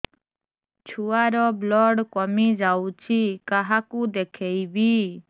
ଛୁଆ ର ବ୍ଲଡ଼ କମି ଯାଉଛି କାହାକୁ ଦେଖେଇବି